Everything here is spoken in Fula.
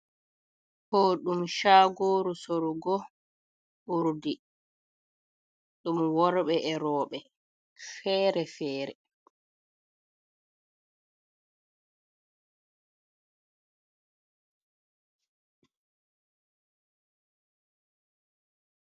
Ɗo ɗum shaguru sorugo urdi ɗum worɓe erobe fere fere.